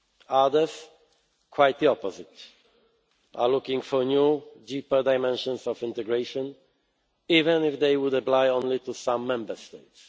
Others, quite the opposite, are looking for new, deeper dimensions of integration, even if they would apply only to some Member